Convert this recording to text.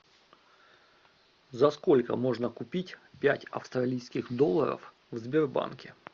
за сколько можно купить пять австралийских долларов в сбербанке